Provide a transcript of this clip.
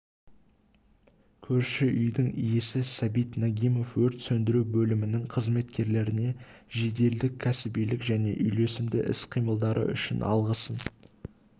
көрші үйдің иесі сабит нагимов өрт сөндіру бөлімінің қызметкерлеріне жеделдік кәсібилік және үйлесімді іс-қимылдары үшін алғысын